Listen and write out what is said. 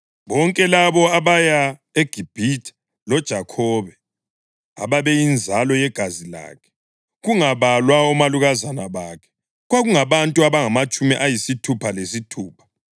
Bonke labo abaya eGibhithe loJakhobe, ababeyinzalo yegazi lakhe, kungabalwa omalukazana bakhe, kwakungabantu abangamatshumi ayisithupha lesithupha.